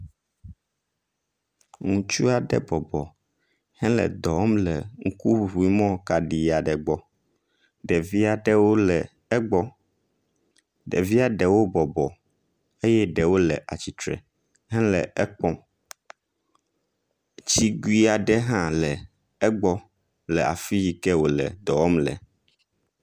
Ŋutsua ɖe bɔbɔ hele dɔ wɔm le ŋkuŋuŋuimɔ kaɖi aɖe gbɔ. Ɖevi aɖewo le egbɔ. Ɖevia ɖewo bɔbɔ eye ɖewo le atsitre hele ekpɔm. Tsiguia ɖe hã le egbɔ le afii ke wòle dɔ wɔm le.